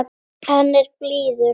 Hann er blíður.